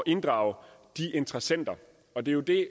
inddrage de interessenter og det er jo det